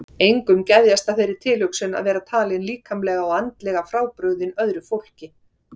Engum geðjast að þeirri tilhugsun að vera talinn líkamlega og andlega frábrugðinn öðru fólki.